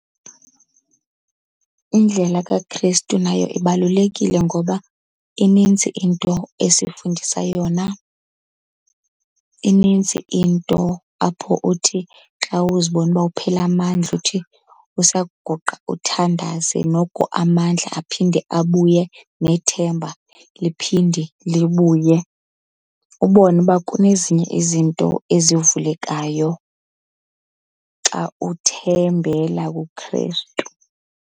Indlela kaKrestu nayo ibalulekile ngoba inintsi into esifundisa yona. Inintsi into apho uthi xa uzibona uba uphela amandla uthi usakuguqa uthandaze noko amandla aphinde abuye, nethemba liphinde libuye. Ubone uba kunezinye izinto ezivulekayo xa uthembela kuKrestu.